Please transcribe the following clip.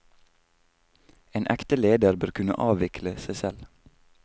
En ekte leder bør kunne avvikle seg selv.